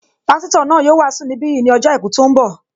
Pásítọ̀ náà yóò wàásù ní bí yìí ní ọjọ́ àìkú tó ń bọ̀